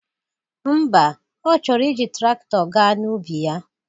Ḿbà, Ọ chọrọ iji traktọ ga n'ubi ya